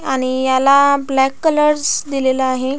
आणि याला black colours दिलेला आहे.